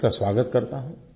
मैं इसका स्वागत करता हूँ